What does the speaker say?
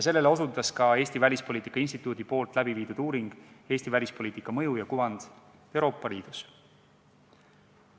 Sellele osutas ka Eesti Välispoliitika Instituudis tehtud uuring "Eesti välispoliitika mõju ja kuvand Euroopa Liidus".